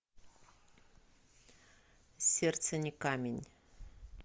сердце не камень